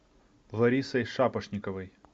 ларисой шапошниковой